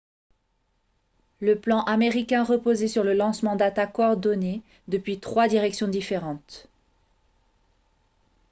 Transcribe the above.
le plan américain reposait sur le lancement d'attaques coordonnées depuis trois directions différentes